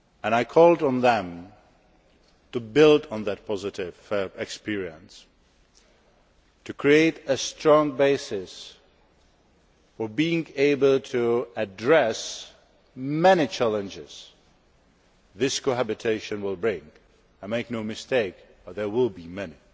I called on them to build on that positive experience and to create a strong basis for being able to address the many challenges this cohabitation will bring and, make no mistake, there will be many.